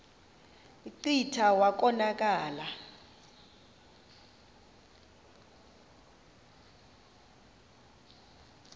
kclta wa konakala